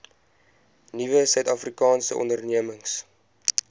nuwe suidafrikaanse ondernemings